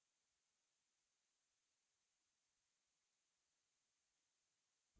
चलिए columnar two columns पर click करते हैं